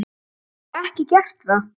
Hef ég ekki gert það?